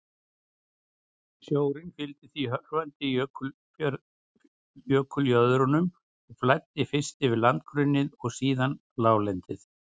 Sjórinn fylgdi því hörfandi jökuljöðrunum og flæddi fyrst yfir landgrunnið og síðan láglendið.